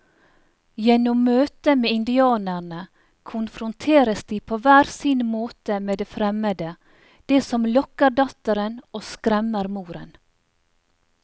Gjennom møtet med indianerne konfronteres de på hver sin måte med det fremmede, det som lokker datteren og skremmer moren.